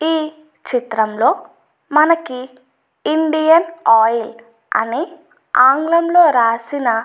ఈ చిత్రంలో మనకి ఇండియన్ ఆయిల్ అనే ఆంగ్లంలో రాసిన --